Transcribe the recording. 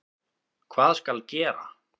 Hvað skal gera?